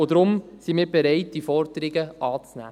Deshalb sind wir bereit, diese Forderungen anzunehmen.